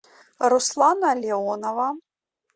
руслана леонова